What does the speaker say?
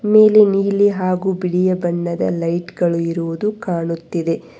ನೀಲಿ ನೀಲಿ ಹಾಗೂ ಬಿಳಿಯ ಬಣ್ಣದ ಲೈಟ್ ಇರುವುದು ಕಾಣುತ್ತಿದೆ.